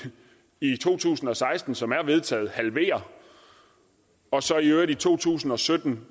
i to tusind og seksten som det er vedtaget halvere og så i øvrigt i to tusind og sytten